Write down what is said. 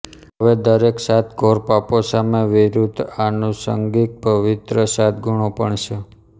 હવે દરેક સાત ધોર પાપો સામે વિરુધ્ધ આનુષંગિક પવિત્ર સાત ગુણો પણ છે